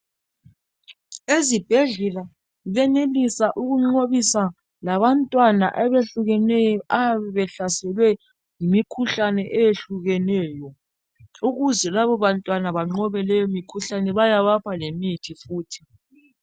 Ezibhedlela benelisa ukunqobisa labantwana abehlukeneyo abayabe behlaselwe yimikhuhlane eyehlukeneyo. Ukuze labo bantwana banqobe leyo mikhuhlane bayabapha lemithi futhi.